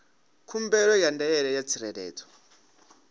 khumbelo ya ndaela ya tsireledzo